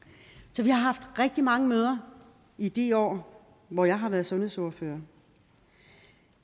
så vi har haft rigtig mange møder i de år hvor jeg har været sundhedsordfører